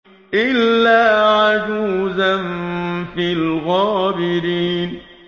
إِلَّا عَجُوزًا فِي الْغَابِرِينَ